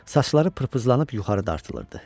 Saçları pırpızlanıb yuxarı dartılırdı.